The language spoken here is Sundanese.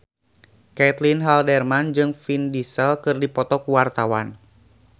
Caitlin Halderman jeung Vin Diesel keur dipoto ku wartawan